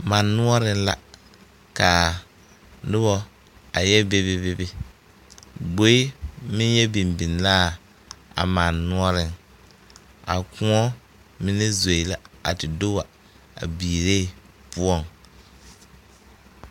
Man noɔre la ka noba a yɛ bebe bebe gbboed meŋ. yɛ biŋbiŋ la. a man noɔriŋ a koɔ mine zoe la a te do a biiree poɔŋ.